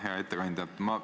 Hea ettekandja!